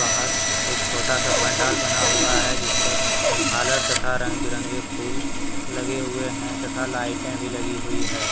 बाहर एक छोटा सा पंडाल बना हुआ है जिसपर झालर तथा रंग बिरंगे फूल लगे हुए है तथा लाइटें भी लगी हुई है।